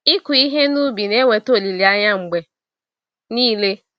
Ịkụ ihe n'ubi na eweta olileanya mgbe nile.